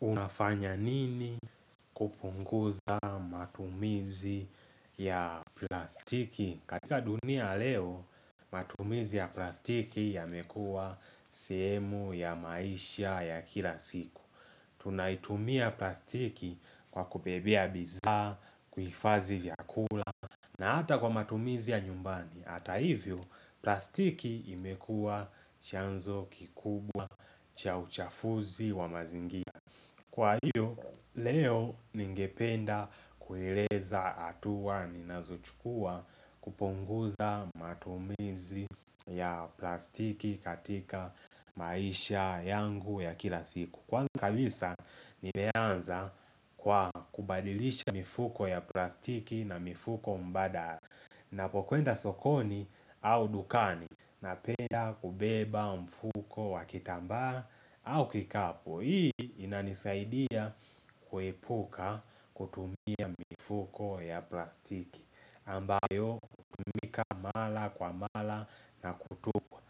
Unafanya nini kupunguza matumizi ya plastiki? Katika dunia ya leo, matumizi ya plastiki yamekuwa sehemu ya maisha ya kila siku. Tunaitumia plastiki kwa kubebea bidhaa, kuifadhi vyakula na hata kwa matumizi ya nyumbani. Hata hivyo, plastiki imekua chanzo kikubwa cha uchafuzi wa mazingira. Kwa hiyo, leo ningependa kuileza hatua ninazochukua kupunguza matumizi ya plastiki katika maisha yangu ya kila siku Kwa kabisa, nimeanza kwa kubadilisha mifuko ya plastiki na mifuko mbadala Napokwenda sokoni au dukani Napenda kubeba mfuko wa kitambaa au kikapu Hii inanisaidia kuepuka kutumia mifuko ya plastiki ambayo hukatika mara kwa mata na kutokwa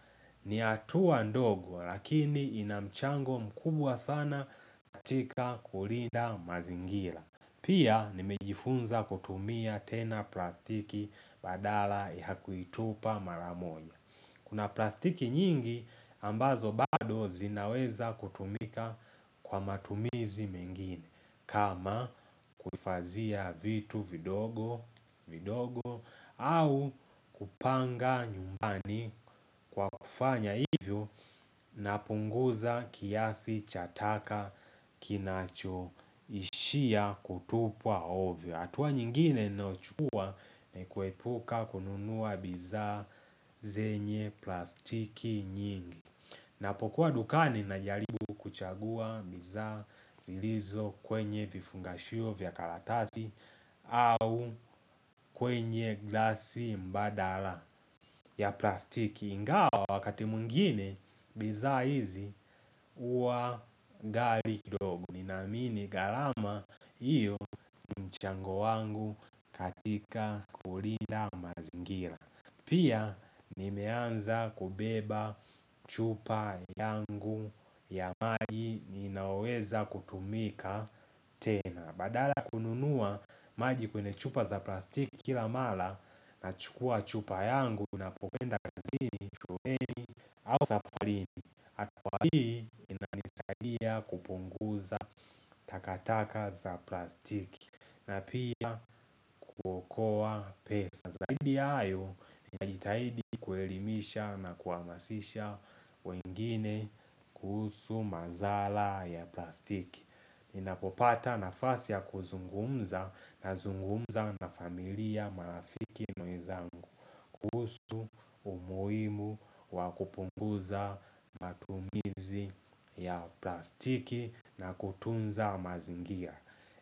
ni hatua ndogo lakini ina mchango mkubwa sana katika kulinda mazingira. Pia nimejifunza kutumia tena plastiki badala ya kuitupa mara moja Kuna plastiki nyingi ambazo bado zinaweza kutumika kwa matumizi mengine kama kuhifadhia vitu vidogo vidogo au kupanga nyumbani kwa kufanya hivyo napunguza kiasi cha taka kinacho ishia kutupwa ovyo hatua nyingine nayochukua nn kuepuka kununua bidhaa zenye plastiki nyingi. Napokuwa dukani na jaribu kuchagua bidhaa zilizo kwenye vifungashio vya karatasi au kwenye glasi mbadala ya plastiki. Ingawa wakati mwingine biza hizi huwa gali kidogo. Ninaamini garama hiyo ni mchango wangu katika kulinda mazingira. Pia nimeanza kubeba chupa yangu ya maji ninaoweza kutumika tena. Badala ya kununua maji kwenye chupa za plastiki kila mara na chukua chupa yangu napokwenda kazini shuleni au safarini Kwa hii inanisaidia kupunguza takataka za plastiki na pia kuokoa pesa Zahidi ya hayo najitahidi kuelimisha na kuhamasisha wengine kuhusu madhara ya plastiki Ninapopata nafasi ya kuzungumza na zungumza na familia marafiki na wenzangu kuhusu umuhimu wa kupunguza matumizi ya plastiki na kutunza mazingia.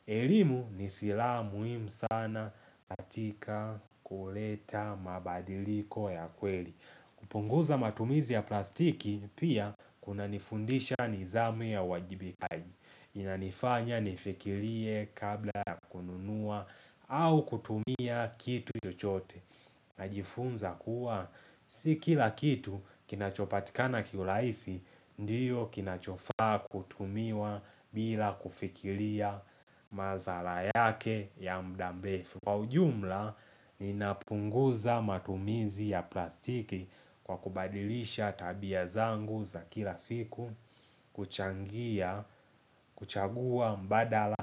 Elimu ni silaha muhimu sana katika kuleta mabadiliko ya kweli. Kupunguza matumizi ya plastiki pia kunanifundisha nidhamu ya uwajibikaji. Inanifanya nifikirie kabla ya kununua au kutumia kitu chochote Najifunza kuwa si kila kitu kinachopatikana kiurahisi Ndiyo kinachofa kutumiwa bila kufikiria madhara yake ya muda mrefu Kwa ujumla ninapunguza matumizi ya plastiki kwa kubadilisha tabia zangu za kila siku kuchangia, kuchagua mbadala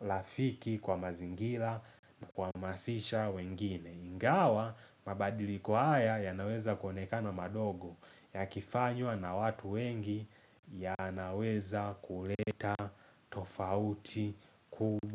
rafiki kwa mazingira ni kuhmasisha wengine Ingawa mabadiliko haya yanaweza kuonekana madogo Yakifnywa na watu wengi yanaweza kuleta tofauti kubwa.